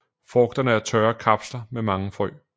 Frugterne er tørre kapsler med mange frø